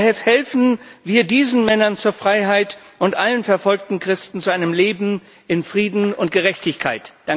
Verhelfen wir diesen Männern zur Freiheit und allen verfolgten Christen zu einem Leben in Frieden und Gerechtigkeit!